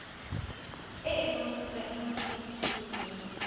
e e bontshitsweng mo setifikeiting